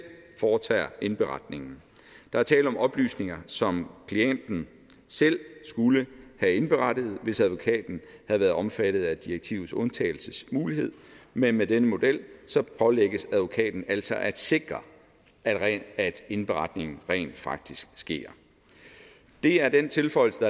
foretager indberetningen der er tale om oplysninger som klienten selv skulle have indberettet hvis advokaten havde været omfattet af direktivets undtagelsesmulighed men med denne model pålægges advokaten altså at sikre at indberetningen rent faktisk sker det er den tilføjelse